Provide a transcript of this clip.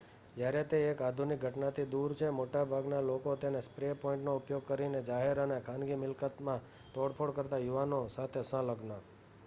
જ્યારે તે એક આધુનિક ઘટનાથી દૂર છે મોટાભાગના લોકો તેને સ્પ્રે પેઇન્ટનો ઉપયોગ કરીને જાહેર અને ખાનગી મિલકતમાં તોડફોડ કરતા યુવાનો સાથે સંલગ્ન